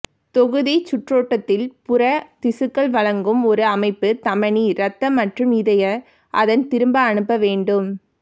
தொகுதிச்சுற்றோட்டத்தில் புற திசுக்கள் வழங்கும் ஒரு அமைப்பு தமனி இரத்த மற்றும் இதய அதன் திரும்ப அனுப்ப வேண்டும்